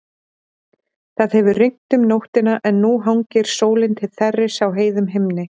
Það hefur rignt um nóttina en nú hangir sólin til þerris á heiðum himni.